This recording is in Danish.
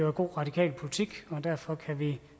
er god radikal politik og derfor kan vi